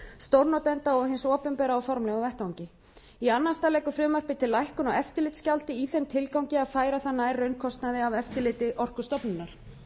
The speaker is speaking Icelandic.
stórnotenda og hins opinbera á formlegum vettvangi í annan stað leggur frumvarpið til lækkun á eftirlitsgjaldi í þeim tilgangi að færa það nær raunkostnaði af eftirliti orkustofnunar